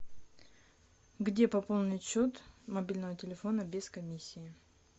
где пополнить счет мобильного телефона без комиссии